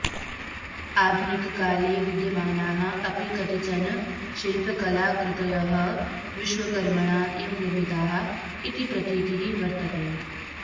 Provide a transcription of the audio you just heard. आधुनिककाले विद्यमानाः अपि कतिचन शिल्पकलाकृतयः विश्वकर्मणा एव निर्मिताः इति प्रतीतिः वर्तते